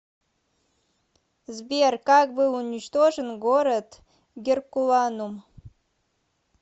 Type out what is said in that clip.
сбер как был уничтожен город геркуланум